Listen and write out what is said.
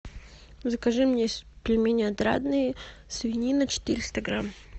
закажи мне пельмени отрадные свинина четыреста грамм